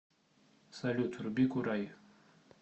салют вруби курай